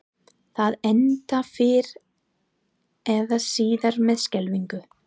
Það endar fyrr eða síðar með skelfingu.